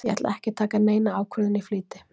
Ég ætla ekki að taka neina ákvörðun í flýti.